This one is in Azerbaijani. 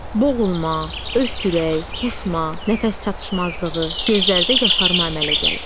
Boğulma, öskürək, qusma, nəfəs çatışmazlığı, gözlərdə yaşarma əmələ gəlir.